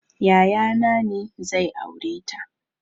Yaya na ne zai aureta